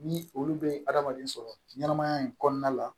Ni olu bɛ hadamaden sɔrɔ ɲɛnɛmaya in kɔnɔna la